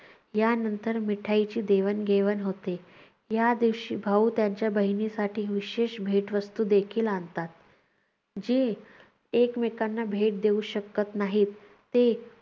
यानंतर मिठाईंची देवाणघेवाण होते. या दिवशी भाऊ त्यांच्या बहिणीसाठी विशेष भेटवस्तू देखील आणतात. जी एकमेकांना भेट देऊ शकत नाहीत ते